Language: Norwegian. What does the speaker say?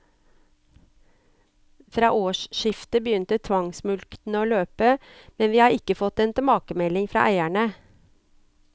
Fra årsskiftet begynte tvangsmulktene å løpe, men vi har ikke fått en tilbakemelding fra eierne.